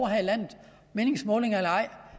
her i landet meningsmålinger eller ej